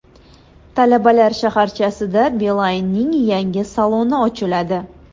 Talabalar shaharchasida Beeline’ning yangi saloni ochiladi.